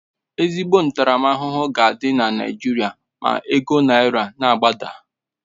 Ezigbo ntaramahụhụ ga adị na Naijiria ma ego naira na agbada